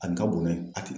A nin ka bon n'a ye a tɛ